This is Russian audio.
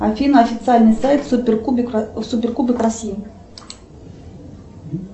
афина официальный сайт суперкубок россии